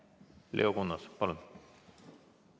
Leo Kunnas, palun!